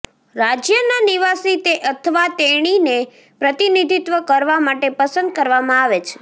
રાજ્યના નિવાસી તે અથવા તેણીને પ્રતિનિધિત્વ કરવા માટે પસંદ કરવામાં આવે છે